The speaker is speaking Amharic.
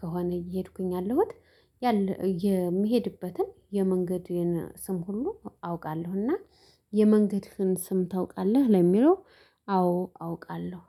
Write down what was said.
ከሆነ እየሄድኩኝ ያለሁት። የምሄድበትን የመንገዴን ስም ሁሉ አውቃለሁ። እና የመንገድህን ስም ታውቃለህ ለሚለው? አዎ አውቃለሁ